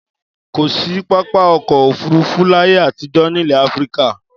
Kò sí pápá ọkọ̀-òfurufú láyé àtijọ́ nílẹ̀ Áfíríkà.